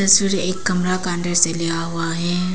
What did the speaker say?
इसमें एक कमरा का दृश्य लिया हुआ है।